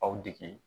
Aw dege